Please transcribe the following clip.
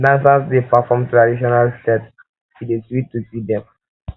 dancers dey perform traditional steps e dey sweet to see dem